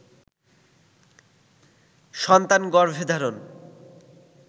সন্তান গর্ভে ধারণ